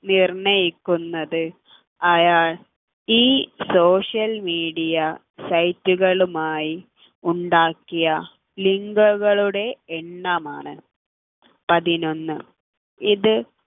നിർണയിക്കുന്നത് അയാൾ ഈ social media site കളുമായി ഉണ്ടാക്കിയ link കളുടെ എണ്ണമാണ് പതിനൊന്നു ഇത്